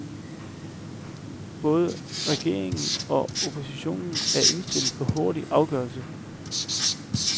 Både regering og opposition er indstillet på hurtig afgørelse.